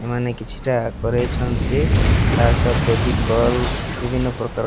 ଏମାନେ କିଛି ଟା କରିଛନ୍ତି। ତାସହ ଫେଭିକୋଲ ବିଭିନ୍ନ ପ୍ରକାରର --